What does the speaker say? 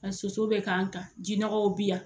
Soso bi ka kan jinɔgɔw bi yan.